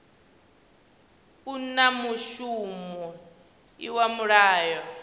u na mushumo iwa mulayo